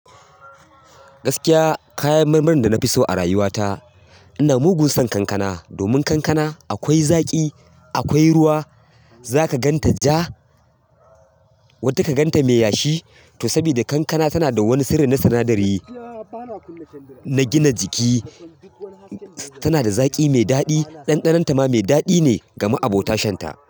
Gaskiya kayan marmarin da na fi so a rayuwa ta ina mugun son kankana. Domin kankana akwai zaƙi, akwai ruwa. Za ka gan ta ja, wata kagan ta mai yashi. To sabida kankana tana da wani sirri na sinadari, na gina jiki. Tana da zaƙi mai daɗi. Ɗanɗanonta ma mai daɗi ne game abota shan ta.